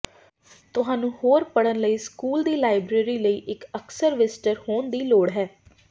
ਤੁਹਾਨੂੰ ਹੋਰ ਪੜ੍ਹਨ ਲਈ ਸਕੂਲ ਦੀ ਲਾਇਬ੍ਰੇਰੀ ਲਈ ਇੱਕ ਅਕਸਰ ਵਿਜ਼ਟਰ ਹੋਣ ਦੀ ਲੋੜ ਹੈ